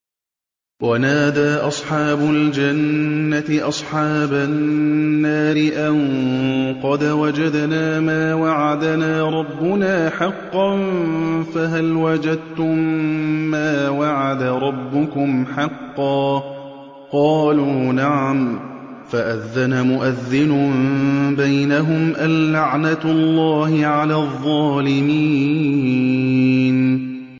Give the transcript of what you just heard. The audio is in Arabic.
وَنَادَىٰ أَصْحَابُ الْجَنَّةِ أَصْحَابَ النَّارِ أَن قَدْ وَجَدْنَا مَا وَعَدَنَا رَبُّنَا حَقًّا فَهَلْ وَجَدتُّم مَّا وَعَدَ رَبُّكُمْ حَقًّا ۖ قَالُوا نَعَمْ ۚ فَأَذَّنَ مُؤَذِّنٌ بَيْنَهُمْ أَن لَّعْنَةُ اللَّهِ عَلَى الظَّالِمِينَ